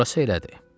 Orası elədir.